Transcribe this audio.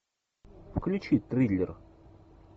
включи триллер